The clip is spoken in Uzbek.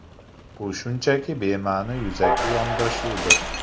Bu shunchaki bema’ni yuzaki yondashuvdir.